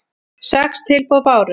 Sex tilboð bárust.